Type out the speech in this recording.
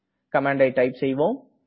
கமாண்டை டைப் செய்வோம்